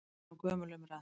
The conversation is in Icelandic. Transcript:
Þetta er nú gömul umræða.